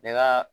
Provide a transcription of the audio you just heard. Bɛɛ ka